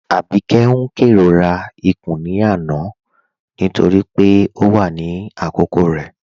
Abikẹ̀'s n kẹrọra nípà ìrọ̀rà ikún lánà nítorí pé ọ wà ní àkókò rẹ